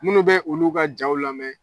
Minnu bɛ olu ka jaaw lamɛn